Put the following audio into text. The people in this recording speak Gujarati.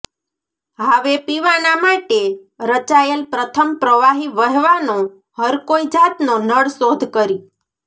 હાવે પીવાના માટે રચાયેલ પ્રથમ પ્રવાહી વહેવાનો હરકોઈ જાતનો નળ શોધ કરી